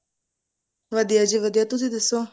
ਵਧੀਆ ਜੀ ਵਧੀਆ ਤੁਸੀਂ ਦੱਸੋ